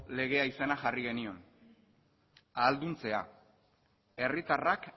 legea izena jarri genion ahalduntzea herritarrak